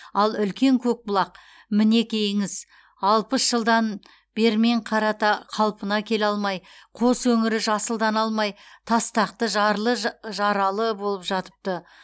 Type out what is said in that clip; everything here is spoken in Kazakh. ал үлкен көкбұлақ мінекейіңіз алпыс жылдан бермен қарата қалпына келе алмай қос өңірі жасылдана алмай тастақты жарлы жаралы болып жатыпты